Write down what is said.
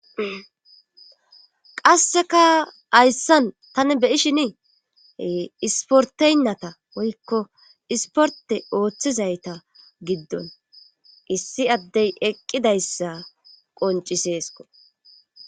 qasseka hayssan tani beyishiniihe isporteynnata woykko isporte ooththizayta giddon issi addey eqqidayssa qonciseesko